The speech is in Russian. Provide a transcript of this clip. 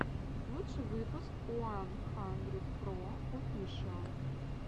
лучший выпуск уан хандридпроофишиал